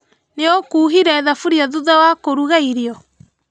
Nĩũkuhire thaburia thutha wa kũruga irio?